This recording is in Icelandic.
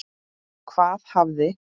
Hvað hafði